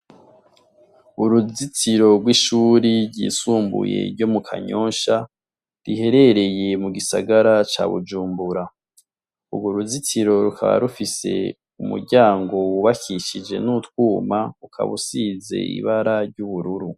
Uruzitiro rw'ishuri ryisumbuye ryo mu Kanyosha riherereye mu gisagara ca Bujumbura. Urwo ruzitiro rukaba rufise umuryango wubakishije n'utwuma ukaba usize ibara ry'ubururu.